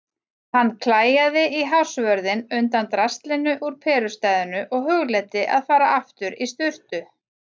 Hann klæjaði í hársvörðinn undan draslinu úr perustæðinu og hugleiddi að fara aftur í sturtu.